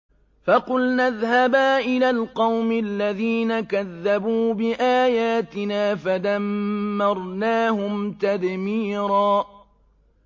فَقُلْنَا اذْهَبَا إِلَى الْقَوْمِ الَّذِينَ كَذَّبُوا بِآيَاتِنَا فَدَمَّرْنَاهُمْ تَدْمِيرًا